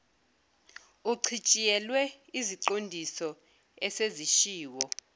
uchitshiyelwe iziqondiso esezishiwo